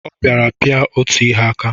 Ọ bịara pịa otu ihe aka.